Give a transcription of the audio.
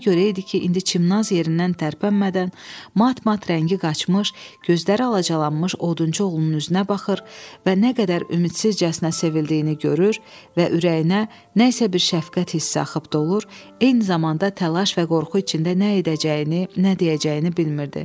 Buna görə idi ki, indi Çimnaz yerindən tərpənmədən, mat-mat rəngi qaçmış, gözləri alacalanmış odunçu oğlunun üzünə baxır və nə qədər ümidsizcəsinə sevildiyini görür və ürəyinə nə isə bir şəfqət hissi axıb dolur, eyni zamanda təlaş və qorxu içində nə edəcəyini, nə deyəcəyini bilmirdi.